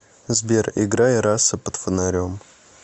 сбер играй раса под фонарем